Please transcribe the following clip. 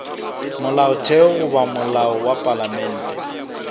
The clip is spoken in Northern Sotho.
molaotheo goba molao wa palamente